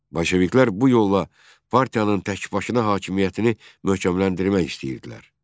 Bolşeviklər bu yolla partiyanın təkbaşına hakimiyyətini möhkəmləndirmək istəyirdilər.